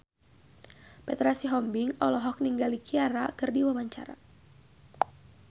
Petra Sihombing olohok ningali Ciara keur diwawancara